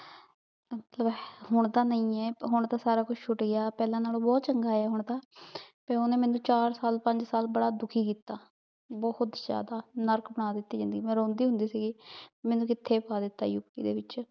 ਹੁਣ ਤਾਂ ਨਹੀ ਆ ਹੁਣ ਤਾਂ ਸਾਰਾ ਕੁਛ ਛੁਟ ਗਯਾ ਪੇਹ੍ਲਾਂ ਨਾਲੋ ਬੋਹਤ ਚੰਗਾ ਆ ਹੁਣ ਤਾਂ ਤੇ ਓਹਨੇ ਮੇਨੂ ਚਾਰ ਸਾਲ ਪੰਜ ਸਾਲ ਬਾਰਾ ਦੁਖੀ ਕੀਤਾ ਬੋਹਤ ਜ਼੍ਯਾਦਾ ਨਰਕ ਬਣਾ ਦਿਤੀ ਜ਼ਿੰਦਗੀ ਮੈਂ ਰੋਂਦੀ ਹੁੰਦੀ ਸੀਗੀ ਮੇਨੂ ਕਿਥੇ ਪਾ ਦਿਤਾ ਇਸ ਦੇ ਵਿਚ